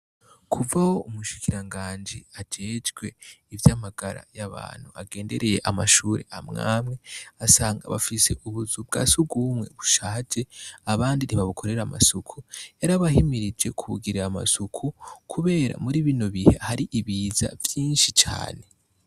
Kuva aho numushikirangaji ajejwe ivyamagara yabantu agendereye amashure amwamwe agasanga bafise ubuzu bwa sugumwe bushaje abandi ntubabukorera amasuku yarabahimirije kubugirira amasuku kubera muri bino bihe ahari Ibiza vyinshi cane.